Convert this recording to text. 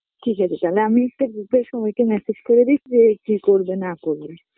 ঠিক আছে তাহলে আমি একটা group -এ সবাইকে message করে দি কি করবে না করবে